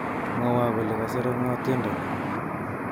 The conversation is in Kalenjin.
Mwowo kole kasere ngo tiendo ni